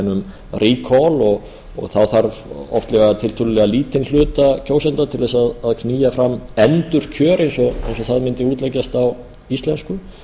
um recall og þá þarf oftlega tiltölulega lítinn hluta kjósenda til þess að knýja fram endurkjör eins og það mundi útleggjast á íslensku